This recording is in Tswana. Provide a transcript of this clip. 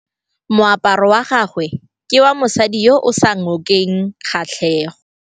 Moaparô wa gagwe ke wa mosadi yo o sa ngôkeng kgatlhegô.